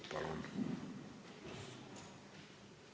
Palun!